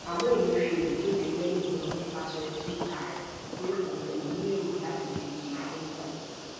àmọ emefiele kéde lẹyìn náà nípasẹ twitter rẹ pé òun kò ní èrò láti díje fún ipò